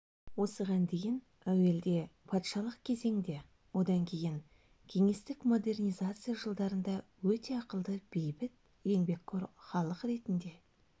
осыған дейін әуелде патшалық кезеңде одан кейін кеңестік модернизация жылдарында өте ақылды бейбіт еңбекқор халық ретінде